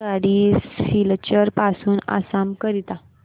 आगगाडी सिलचर पासून आसाम करीता